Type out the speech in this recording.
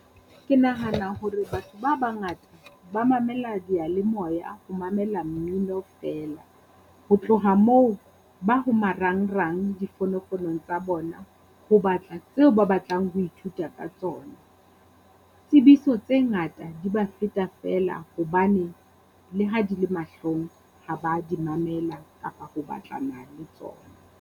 Ke nahana hore batho ba bangata ba mamela dialemoya ho mamela mmino feela, ho tloha moo ba ho marangrang difonofonong tsa bona ho batla tseo ba batlang ho ithuta ka tsona. Tsebiso tse ngata di ba feta feela, hobaneng le ha di le mahlong ha ba di mamela kapa ho batlana le tsona.